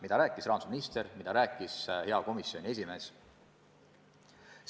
Seda rääkis ka rahandusminister, seda rääkis hea komisjoni esimees.